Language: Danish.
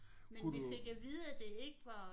Kunne du?